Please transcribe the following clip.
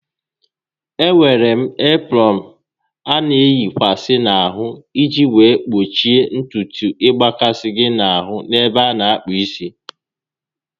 Enwere eprọn a na eyikwasa n'ahụ iji wee gbochie ntutu ịgbakasị gị ahụ n'ebe a na akpụ isi